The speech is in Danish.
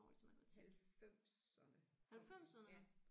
Halvfemserne kom det ja